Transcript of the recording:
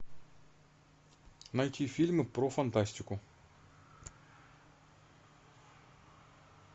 найти фильмы про фантастику